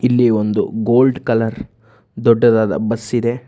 ಇಲ್ಲಿ ಒಂದು gold colour ದೊಡ್ಡದಾದ ಬಸ್ ಇದೆ.